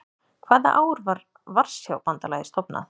Hvaða ár var Varsjárbandalagið stofnað?